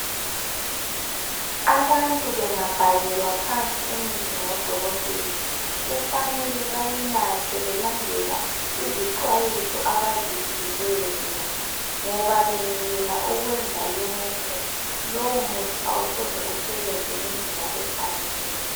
Abantu bengabhalelwa phansi imithi ngudokotela kufanele bayinathe belandela izixwayiso abaziphiweyo ngoba bengekela ukwenza lokhu lowu muthi awusoze usebenze ngendlela efaneleyo